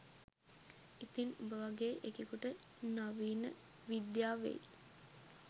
ඉතින් උඹ වගේ එකෙකුට නවීන විද්‍යාවෙයි